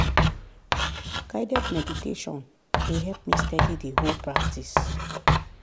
guided meditation dey help me steady the whole practice.